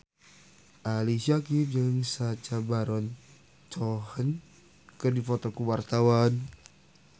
Ali Syakieb jeung Sacha Baron Cohen keur dipoto ku wartawan